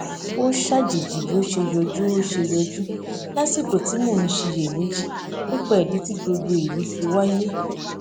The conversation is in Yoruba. ó ṣàjèjì bí o ṣe yọjú o ṣe yọjú lásìkò tí mo ń ṣiyèméjì nípa ìdí tí gbogbo èyí fi wáyé